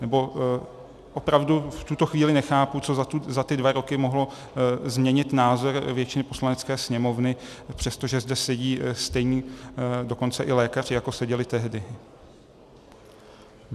Nebo opravdu v tuto chvíli nechápu, co za ty dva roky mohlo změnit názor většiny Poslanecké sněmovny, přestože zde sedí stejní dokonce i lékaři, jako seděli tehdy.